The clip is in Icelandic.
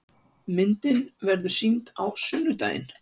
Myndin verður sýnd á sunnudaginn.